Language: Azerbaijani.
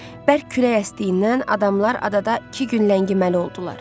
Bərk külək əsdiyindən adamlar adada iki gün ləngiməli oldular.